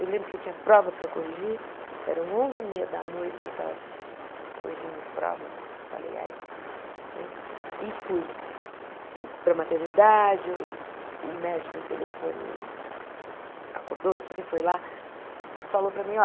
eu lembro que eu tinha prova para corrigir, eram onze e meia da noite, eu estava corrigindo prova, falei, ai né e fui para a maternidade, o médico o telefone acordou, não sei o que lá falou para mim,